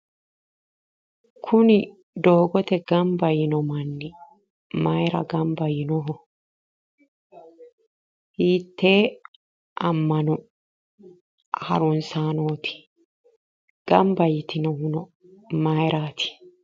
Kuni doogote gamba yiino manni mayira gamba yiinoho hiittee ammano harunsaanooti gamba yitinohuno mayiraati